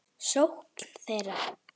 sókn þeirra?